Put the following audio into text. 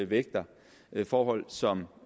vægter forhold som